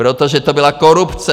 Protože to byla korupce!